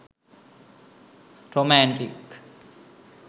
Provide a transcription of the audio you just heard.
romantic